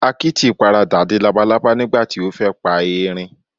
Akítì paradà di labalábá nígbàti o fẹ́ pa eerin